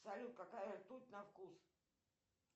салют какая ртуть на вкус